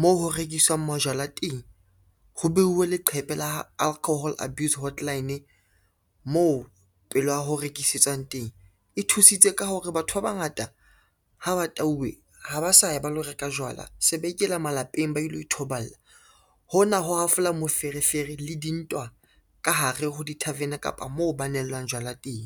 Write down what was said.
moo ho rekiswang majwala teng, ho beuwe leqhepe la alcohol abuse hotline moo pela ho rekisetswang teng e thusitse ka hore batho ba bangata ha ba tauwe ha ba sa ye ba lo reka jwala, se ba ikela malapeng ba ilo ithoballa. Hona ho hafola moferefere le dintwa ka hare ho di-tarven kapa moo ba nellwang jwala teng.